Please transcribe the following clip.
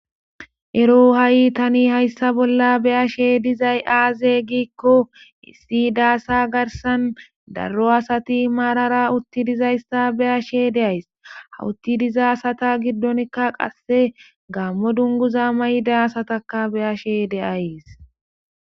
Ero ha7i tani hayssa bolla be7ashe dizay aaze giikko issi daasa garsan darro asati maarara utti dizayssa be ashe de7ays hawutti diza sata giddonkka qasse gaammo dunguza mayda sataka be7ashe de7ays.